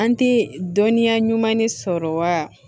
An tɛ dɔnniya ɲuman de sɔrɔ wa